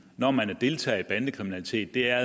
når man deltager i bandekriminalitet er